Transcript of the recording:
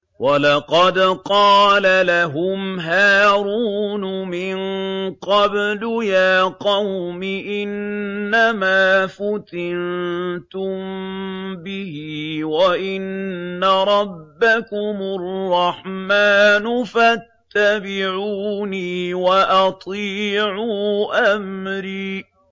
وَلَقَدْ قَالَ لَهُمْ هَارُونُ مِن قَبْلُ يَا قَوْمِ إِنَّمَا فُتِنتُم بِهِ ۖ وَإِنَّ رَبَّكُمُ الرَّحْمَٰنُ فَاتَّبِعُونِي وَأَطِيعُوا أَمْرِي